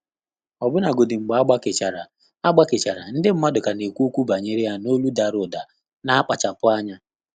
Ọ́bụ́làgọ́dị́ mgbè ágbàkéchàrà, ágbàkéchàrà, ndị́ mmàdụ̀ kà nà-ékwú ókwú bànyèrè yá n’ólú dàrà ụ̀dà nà-ákpàchàpụ́ ányá.